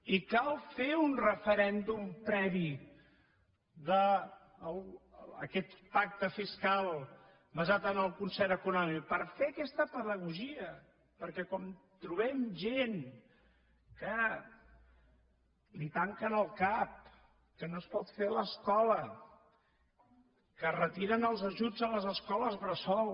i cal fer un referèndum previ d’aquest pacte fiscal basat en el concert econòmic per fer aquesta pedagogia perquè com trobem gent que li tanquen el cap que no es pot fer l’escola que retiren els ajuts a les escoles bressol